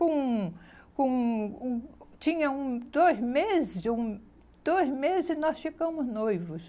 Com... Com... Hum, tinha um dois meses, hum, dois meses nós ficamos noivos.